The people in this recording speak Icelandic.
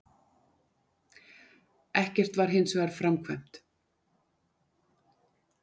Ekkert var hins vegar framkvæmt